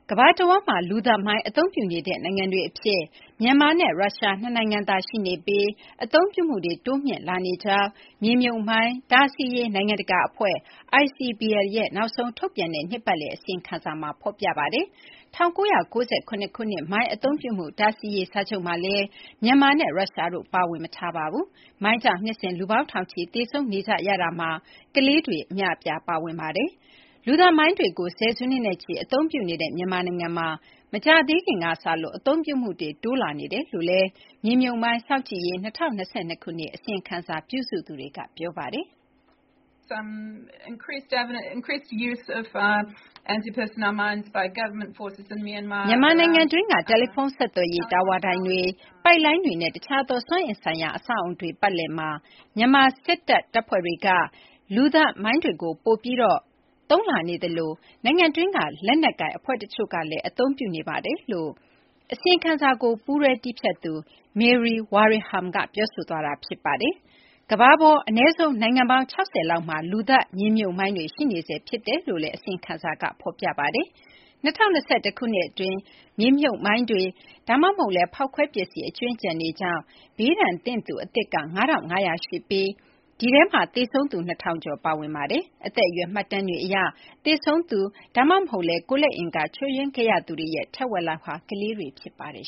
ကမ ္ဘာတဝှမ်းမှာ လူသတ်မိုင်း အသုံးပြုနေတေဲ့ နိုင်ငံတွေအဖြစ် မြန်မာနဲ့ ရုရှား ၂ နိုင်ငံသာ ရှိနေပြီး၊ အသုံးပြုမှုတွေ တိုးမြှင့်လာနေကြောင်း မြေမြှုပ်မိုင်း တားဆီးရေး နိုင်ငံတကာအဖွဲ့ ICBL ရဲ့ နောက်ဆုံးထုတ်ပြန်တဲ့ နှစ်ပတ်လည် အစီရင်ခံစာမှာ ဖော်ပြပါတယ်။ ၁၉၉၇ ခုနှစ် မိုင်း အသုံးပြုမှု တားဆီးရေး စာချုပ်မှာလည်း မြန်မာနဲ့ ရုရှားတို့က ပါဝင် မထားပါဘူး။ မိုင်းကြောင့် နှစ်စဉ် လူပေါင်း ထောင်ချီ သေဆုံးနေကြရတာမှာ ကလေးတွေလည်း အများအပြား ပါဝင်ပါတယ်။ လူသတ်မိုင်းတွေကို ဆယ်စုနှစ်နဲ့ချီ အသုံးပြုနေတဲ့ မြန်မာနိုင်ငံမှာ မကြာသေးခင်က စလို့ အသုံးပြုမှုတွေ တိုးလာနေတယ်လို့လည်း မြေမြှုပ်မိုင်း စောင့်ကြည်ရေး ၂၀၂၂ ခုနှစ် အစီရင်ခံစာ ပြုစုသူတွေက ပြောပါတယ်။ " မြန်မာနိုင်ငံတွင်းက တယ်လီဖုန်း ဆက်သွယ်ရေး တာဝါတိုင်တွေ၊ ပိုက်လိုင်းတွေနဲ့ တခြားသော စွမ်းအင်ဆိုင်ရာ အဆောက်အအုံတွေ ပတ်လည်မှာ မြန်မာ စစ်တပ် တပ်ဖွဲ့တွေက လူသတ်မိုင်းတွေကို ပိုပြီး သုံးလာနေသလို နိုင်ငံတွင်းက လက်နက်ကိုင် အဖွဲ့ တချို့ကလည်း အသုံးပြုနေပါတယ်။" လို့ အစီရင်ခံစာကို ပူးတွဲ တည်းဖြတ်သူ Mary Wareham က ပြောဆိုသွားတာပါ။ ကမ္ဘာပေါ် အနည်းဆုံး နိုင်ငံပေါင်း ၆၀ လောက်မှာ လူသတ် မြေမြှုပ်မိုင်းတွေ ရှိနေဆဲ ဖြစ်တယ်လို့လည်း အစီရင်ခံစာက ဖော်ပြပါတယ်။ ၂၀၂၁ ခုနှစ် အတွင်း မြေမြှုပ်မိုင်းတွေ ဒါမှမဟုတ်လည်း ဖောက်ခွဲပစ္စည်း အကြွင်းအကျန်တွေကြောင့် ဘေးဒဏ်သင့်သူ အသစ် ၅,၅၀၀ ရှိပြီး ဒီထဲမှာ သေဆုံးသူ ၂,၀၀၀ ကျော် ပါဝင်ပါတယ်။ အသက်အရွယ် မှတ်တမ်းတွေ အရ သေဆုံးသူ ဒါမှမဟုတ်လည်း ကိုယ်လက်အင်္ဂါ ချို့ယွင်းခဲ့ရသူတွေရဲ့ ထက်ဝက်လောက်ဟာ ကလေးတွေ ဖြစ်ပါတယ်